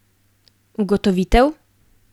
Ugotovitev?